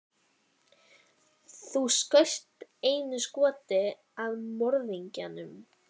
Þú skaust einu skoti að morðingjanum.